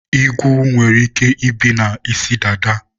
igwu nwere ike ibi na isi dada